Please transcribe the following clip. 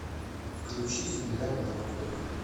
включи земля мертвых